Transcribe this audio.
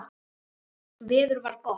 Veður var gott.